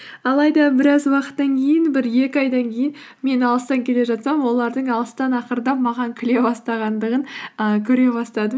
алайда біраз уақыттан кейін бір екі айдан кейін мен алыстан келе жатсам олардың алыстан ақырындап маған күле бастағандығын ііі көре бастадым